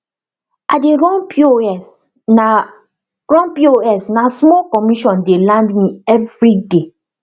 i dey run pos na run pos na small commission dey land me everyday